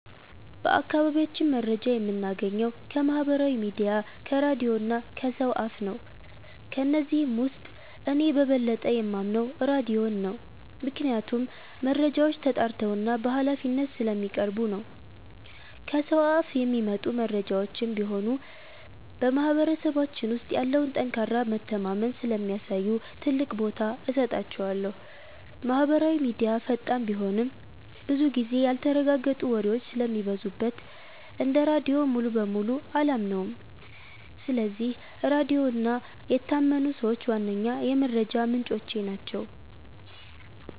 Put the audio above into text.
በአካባቢያችን መረጃ የምናገኘው ከማህበራዊ ሚዲያ፣ ከራድዮ እና ከሰው አፍ ነው። ከነዚህም ውስጥ እኔ በበለጠ የማምነው ራድዮን ነው፤ ምክንያቱም መረጃዎች ተጣርተውና በሃላፊነት ስለሚቀርቡ ነው። ከሰው አፍ የሚመጡ መረጃዎችም ቢሆኑ በማህበረሰባችን ውስጥ ያለውን ጠንካራ መተማመን ስለሚያሳዩ ትልቅ ቦታ እሰጣቸዋለሁ። ማህበራዊ ሚዲያ ፈጣን ቢሆንም፣ ብዙ ጊዜ ያልተረጋገጡ ወሬዎች ስለሚበዙበት እንደ ራድዮ ሙሉ በሙሉ አላምነውም። ስለዚህ ራድዮ እና የታመኑ ሰዎች ዋነኛ የመረጃ ምንጮቼ ናቸው።